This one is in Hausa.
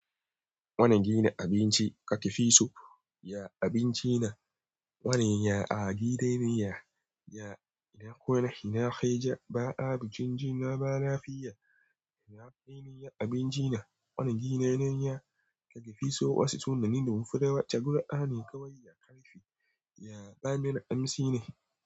Wani gina abinci ka tifi so, ya abinci na wane, ya a gidanya, ya ina kona, ina kai ja, ba abincin ji na ba lafiya, ina faɗi ne, ya abinci na wani gina nan ya ka kifi so wasu sunanin da wufi dawa taguɗa ne kawai ya karfe, ya ɓanin amsi ne.